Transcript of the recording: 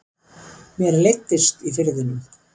Mér leiddist í Firðinum.